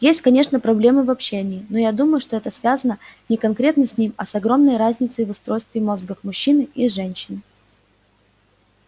есть конечно проблемы в общении но я думаю что это связано не конкретно с ним а с огромной разницей в устройстве мозгов мужчины и женщины